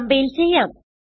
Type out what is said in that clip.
compile ചെയ്യാം